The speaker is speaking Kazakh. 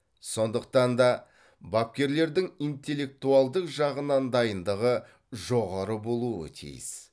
сондықтан да бапкерлердің интеллектуалдық жағынан дайындығы жоғары болуы тиіс